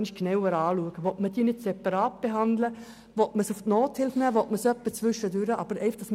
Es wäre zu prüfen, ob man diese separat behandeln, den betreffenden Personen Nothilfe gewähren oder etwas dazwischen gewähren will.